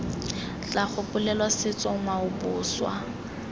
tla gopolelwa setso ngwao boswa